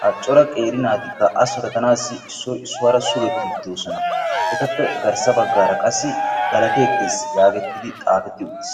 ha cora qeeri naatikka a sarotanaassi issoy issuwara sugettiiddi doosona. etappe garssa baggaara qassi galateettes! yaagettidi xaafetti uttis.